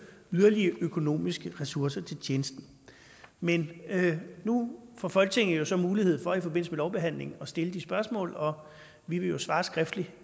yderligere økonomiske ressourcer til tjenesten men nu får folketinget jo så mulighed for i forbindelse med lovbehandlingen at stille de spørgsmål og vi vil jo svare skriftligt